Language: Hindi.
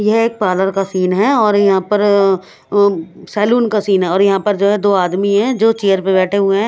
ये एक पार्लर का सीन है और यह पर अ सैलून का सीन है और यह पर जो है दो आदमी है जो चेयर पर बेठे हुए है।